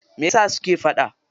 Meyasa suke faɗa?